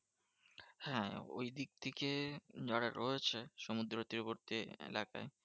হ্যাঁ ঐদিক থেকে যারা রয়েছে সমুদ্র তীরবর্তী এলাকায়?